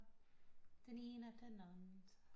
Den ene den andet